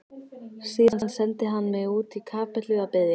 Síðan sendi hann mig út í kapellu að biðja.